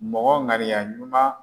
Mɔgɔ ŋaniya ɲuman